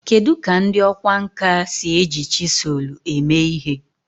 Kedu ka ndị ọkwá nkà si eji chiselu eme ihe?